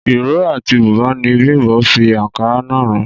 Ìró àti bùbá ni Bím̀bọ́ fi àǹkárá náà ran